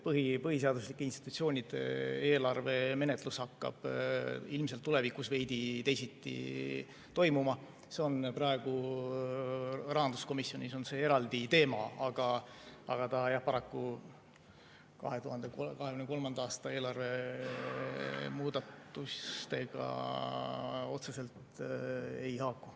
Põhiseaduslike institutsioonide eelarve menetlus hakkab ilmselt tulevikus veidi teisiti toimuma, see on praegu rahanduskomisjonis eraldi teema, aga 2023. aasta eelarve muudatustega ta paraku otseselt ei haaku.